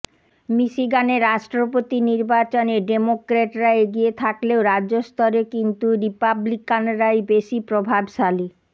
মিশিগানে রাষ্ট্রপতি নির্বাচনে ডেমোক্র্যাটরা এগিয়ে থাকলেও রাজ্যস্তরে কিনতু রিপাব্লিকানরাই বেশি প্রভাবশালী